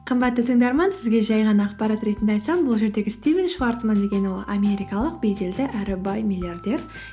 қымбатты тыңдарман сізге жай ғана ақпарат ретінде айтсам бұл жердегі стивен шварцман деген ол америкалық беделді әрі бай миллиардер